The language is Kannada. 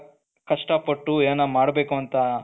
ಕಷ್ಟಪಟ್ಟು ಏನನ ಮಾಡಬೇಕು ಅಂತ